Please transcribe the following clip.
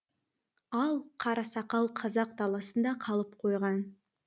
ал қарасақал қазақ даласында қалып қойған